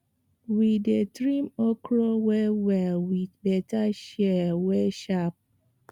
we dey trim okra wellwell with better shears wey sharp